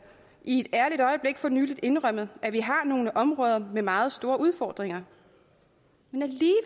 i et ærligt øjeblik for nylig indrømmede at vi har nogle områder med meget store udfordringer